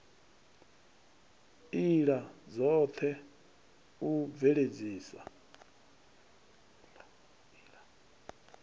ila dzot he u bveledzisa